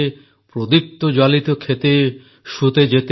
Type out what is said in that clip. ପ୍ରୋଦୀପ୍ତି ଜାଲିତେ ଖେତେ ଶୁତେ ଯେତେ